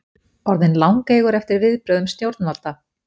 Orðinn langeygur eftir viðbrögðum stjórnvalda